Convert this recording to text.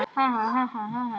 Farið þið aldrei að rífast?